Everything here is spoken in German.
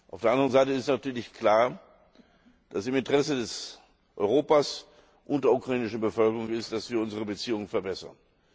Auf der anderen Seite ist natürlich klar, dass es im Interesse Europas und der ukrainischen Bevölkerung ist, dass wir unsere Beziehungen verbessern.